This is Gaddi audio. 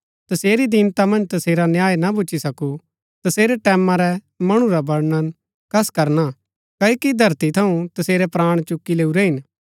तसेरी दीनता मन्ज तसेरा न्याय ना भूच्ची सकु तसेरै टैमां रै मणु रा वर्णन कस करना क्ओकि धरती थऊँ तसेरै प्राण चुकी लैऊरै हिन